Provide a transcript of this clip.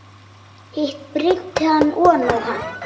Hitt breiddi hann oná hann.